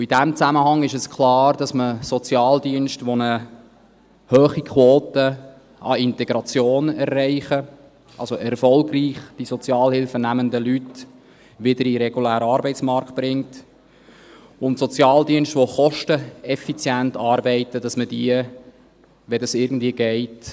In diesem Zusammenhang ist klar, dass man Sozialdienste, die eine hohe Quote an Integration erreichen, die also Sozialhilfe nehmende Leute erfolgreich zurück in den regulären Arbeitsmarkt bringen, und die kosteneffizient arbeiten, belohnen muss, wenn dies irgendwie geht.